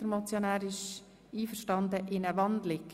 Hier ist der Motionär mit einer Wandlung einverstanden.